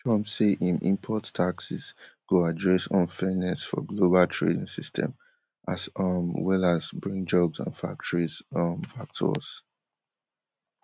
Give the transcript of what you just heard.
trump say im import taxes go address unfairness for global trading system as um well as bring jobs and factories um back to us